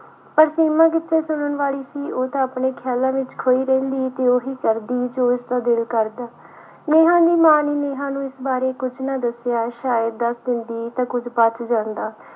ਪਰ ਸੀਮਾ ਕਿੱਥੇ ਸੁਣਨ ਵਾਲੀ ਸੀ ਉਹ ਤਾਂ ਆਪਣੇ ਖਿਆਲਾਂ ਵਿੱਚ ਖੋਈ ਰਹਿੰਦੀ ਤੇ ਉਹੀ ਕਰਦੀ ਜੋ ਉਸਦਾ ਦਿਲ ਕਰਦਾ ਨੇਹਾਂ ਦੀ ਮਾਂ ਨੇ ਨੇਹਾਂ ਨੂੰ ਇਸ ਬਾਰੇ ਕੁਛ ਨਾ ਦੱਸਿਆ ਸ਼ਾਇਦ ਦੱਸ ਦਿੰਦੀ ਤਾਂ ਕੁੱਝ ਬਚ ਜਾਂਦਾ।